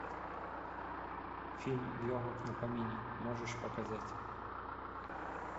фильм легок на помине можешь показать